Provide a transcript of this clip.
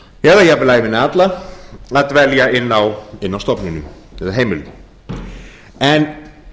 eða jafnvel ævina alla að dvelja inni á stofnunum eða heimilum en